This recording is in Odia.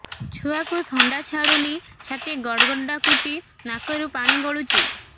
ଛୁଆକୁ ଥଣ୍ଡା ଛାଡୁନି ଛାତି ଗଡ୍ ଗଡ୍ ଡାକୁଚି ନାକରୁ ପାଣି ଗଳୁଚି